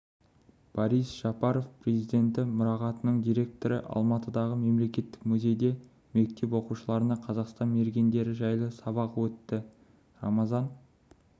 борис жапаров президенті мұрағатының директоры алматыдағы мемлекеттік музейде мектеп оқушыларына қазақстан мергендері жайлы сабақ өтті рамазан